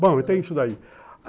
Bom, então é isso daí.